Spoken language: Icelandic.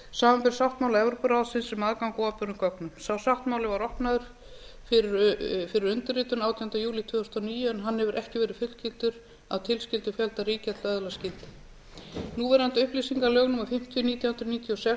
samanber sáttmála evrópuráðsins um aðgang að opinberum gögnum sá sáttmáli var opnaður fyrir undirritun átjánda júlí tvö þúsund og níu en hann hefur ekki verið fullgiltur af tilskildum fjölda ríkja hið að öðlast gildi núverandi upplýsingalög númer fimmtíu nítján hundruð níutíu og sex